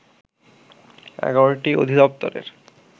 ১১টি অধিদপ্তরের